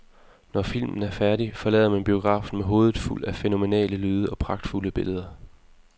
Når filmen er færdig, forlader man biografen med hovedet fuldt af fænomenale lyde og pragtfulde billeder.